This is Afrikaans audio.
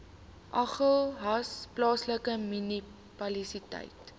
agulhas plaaslike munisipaliteit